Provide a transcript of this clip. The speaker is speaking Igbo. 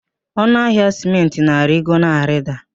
Ọnụ ahịa sịmentị na-arigo, na-arida